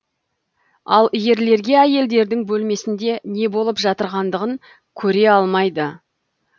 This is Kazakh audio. ал ерлерге әйелдердің бөлмесінде не болып жатырғандығын көре алмайды